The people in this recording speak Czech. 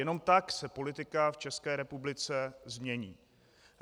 Jenom tak se politika v České republice změní.